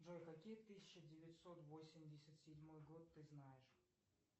джой какие тысяча девятьсот восемьдесят седьмой год ты знаешь